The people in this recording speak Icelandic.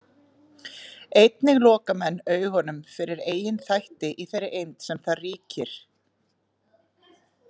Einnig loka menn augunum fyrir eigin þætti í þeirri eymd sem þar ríkir.